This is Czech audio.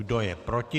Kdo je proti?